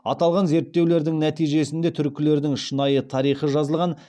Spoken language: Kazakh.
аталған зертеулердің нәтижесінде түркілердің шынайы тарихы жазылған